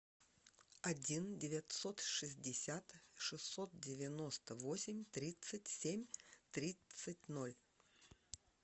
один девятьсот шестьдесят шестьсот девяносто восемь тридцать семь тридцать ноль